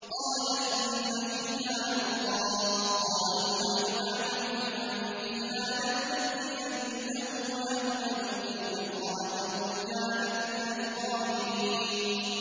قَالَ إِنَّ فِيهَا لُوطًا ۚ قَالُوا نَحْنُ أَعْلَمُ بِمَن فِيهَا ۖ لَنُنَجِّيَنَّهُ وَأَهْلَهُ إِلَّا امْرَأَتَهُ كَانَتْ مِنَ الْغَابِرِينَ